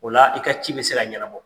O la i ka ci be se ka ɲɛnabɔ.